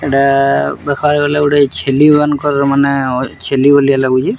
ଏଇଟା ଦେଖବାକେ ଗଲେ ଗୁଟେ ଛେଲି ମାନଙ୍କର ମାନେ ଛେଲି ଭଲିଆ ଲାଗୁଛେ।